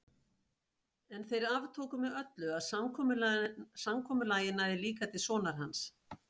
En þeir aftóku með öllu að samkomulagið næði líka til sonar hans.